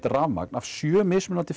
rafmagn af sjö mismunandi